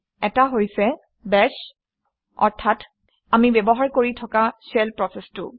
এটা হৈছে বাশ অৰ্থাৎ আমি ব্যৱহাৰ কৰি থকা শ্বেল প্ৰচেচটো